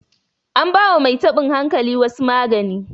anbawa Mai tabon hankalin wasu magani